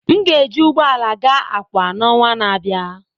M ga-eji ụgbọ ala gaa Akwa na ọnwa na-abịa.